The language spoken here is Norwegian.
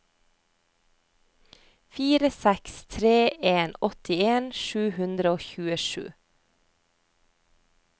fire seks tre en åttien sju hundre og tjuesju